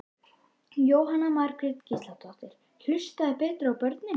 Jóhanna Margrét Gísladóttir: Hlusta betur á börnin?